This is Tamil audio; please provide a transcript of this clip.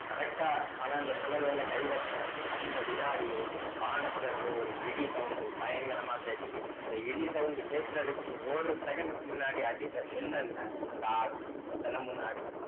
correct ஆ அவன் அந்த சில மேல கை வச்ச அந்த வினாடியே வானத்துல இருந்து ஒரு இடி sound பயங்கரமா கேட்குது அந்த இடி sound கேட்கிறதுக்கு ஒரு second க்கு முன்னாடி அடிச்ச மின்னல்ல அந்த ஆள் அந்த சில முன்னாடி